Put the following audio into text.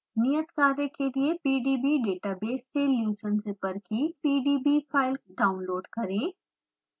नियत कार्य के लिए pdb डेटाबेस से leucine zipper की pdb फाइल डाउनलोड करें